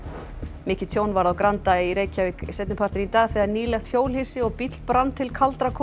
mikið tjón varð á Granda í Reykjavík seinni partinn í dag þegar nýlegt hjólhýsi og bíll brann til kaldra kola